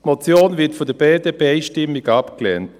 Die Motion wird von der BDP einstimmig abgelehnt.